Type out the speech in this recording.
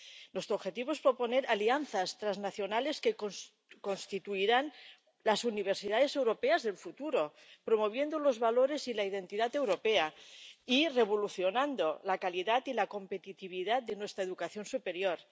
Nuestro objetivo es proponer alianzas transnacionales que constituirán las universidades europeas del futuro, promoviendo los valores y la identidad europea y revolucionando la calidad y la competitividad de nuestra educación superior.